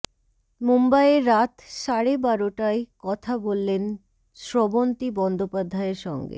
মুম্বইয়ে রাত সাড়ে বারোটায় কথা বললেন স্রবন্তী বন্দ্যোপাধ্যায়ের সঙ্গে